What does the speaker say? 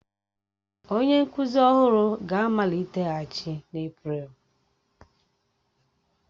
Onye nkuzi ọhụrụ ga-amaliteghachi n'Eprelu